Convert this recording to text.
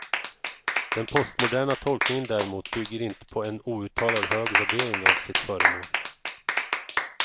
Den postmoderna tolkningen däremot bygger inte på en outtalat hög värdering av sitt föremål.